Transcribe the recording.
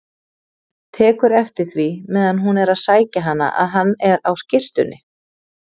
Tekur eftir því meðan hún er að sækja hana að hann er á skyrtunni.